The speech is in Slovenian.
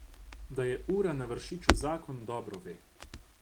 Da je ura na Vršiču zakon, dobro ve.